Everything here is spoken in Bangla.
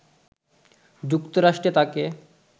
যুক্তরাষ্ট্রে তাকে